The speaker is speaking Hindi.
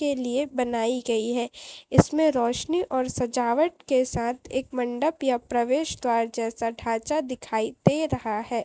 के लिए बनाई गई है इसमें रोशनी और सजावट के साथ एक मंडप या प्रवेश द्वार जैसा ढांचा दिखाई दे रहा है।